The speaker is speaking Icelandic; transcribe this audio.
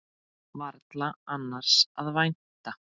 Varla annars að vænta.